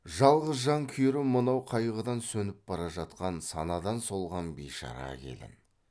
жалғыз жан күйері мынау қайғыдан сөніп бара жатқан санадан солған бишара келін